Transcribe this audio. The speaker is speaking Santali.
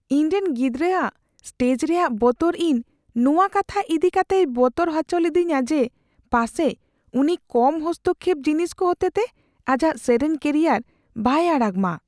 ᱤᱧᱨᱮᱱ ᱜᱤᱫᱽᱨᱟᱹ ᱟᱜ ᱥᱴᱮᱡ ᱨᱮᱭᱟᱜ ᱵᱚᱛᱚᱨ ᱤᱧ ᱱᱚᱣᱟ ᱠᱟᱛᱷᱟ ᱤᱫᱤ ᱠᱟᱛᱮᱭ ᱵᱚᱛᱚᱨ ᱟᱪᱚ ᱞᱮᱫᱤᱧᱟ ᱡᱮ ᱯᱟᱥᱮᱡ ᱩᱱᱤ ᱠᱚᱢ ᱦᱚᱥᱛᱚᱠᱦᱮᱯ ᱡᱤᱱᱤᱥ ᱠᱚ ᱦᱚᱛᱮᱛᱮ ᱟᱡᱟᱜ ᱥᱮᱨᱮᱧ ᱠᱮᱨᱤᱭᱟᱨ ᱵᱟᱭ ᱟᱲᱟᱜ ᱢᱟ ᱾